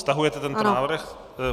Stahujete tento návrh?